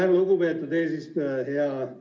Aitäh, lugupeetud eesistuja!